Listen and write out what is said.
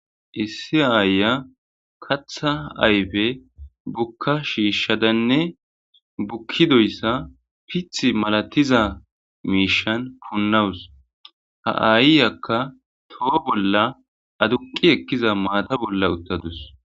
issi aaya katha ayfe bukka shiishshadanne bukkidoyssa pith malatiza miishan funnawus ha7ayyyakka toho bolla aduqi ekkiza maata bolla uttadus